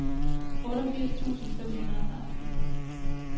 otteogfirs tusind fem hundrede og seksten